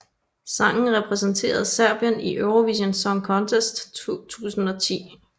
Sangen repræsenterede Serbien i Eurovision Song Contest 2010